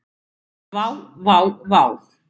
Vá, vá vá.